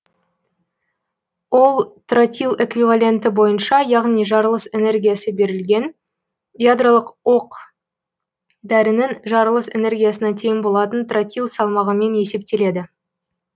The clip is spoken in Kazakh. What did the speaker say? ол тротил эквиваленті бойынша яғни жарылыс энергиясы берілген ядролық оқ дәрінің жарылыс энергиясына тең болатын тротил салмағымен есептеледі